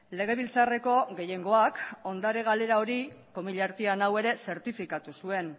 legebiltzarreko gehiengoak ondare galera hori komilla artean hau ere zertifikatu zuen